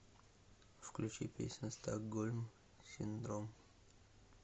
включи песня стокгольм синдром